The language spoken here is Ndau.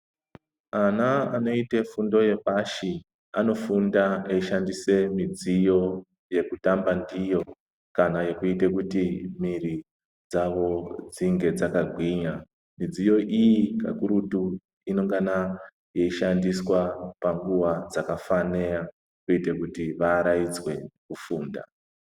Ana anoite fundo yepashi anofunda eishandise midziyo yekutamba ndiyo kana yekuite kuti mwiiri dzavo dzinge dzakagwinya. Midziyo iyi kakurutu inengana yeishandiswa panguva dzakafanira kuite kuti vaaraidzwe kufunda.